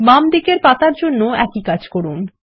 বামদিকের পাতার জন্যও একই কাজ করুন